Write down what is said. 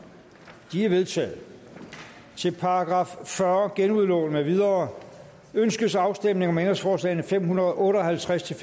de er vedtaget til § fyrre genudlån med videre ønskes afstemning om ændringsforslag nummer fem hundrede og otte og halvtreds til